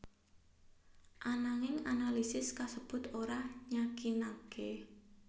Ananging analisis kasebut ora nyakinaké